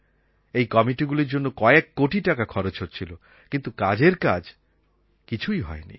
এই কমিটিগুলির জন্য কয়েক কোটি টাকা খরচ হচ্ছিল কিন্তু কাজের কাজ কিছুই হয়নি